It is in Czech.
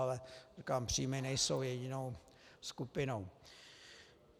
Ale říkám, příjmy nejsou jedinou skupinou.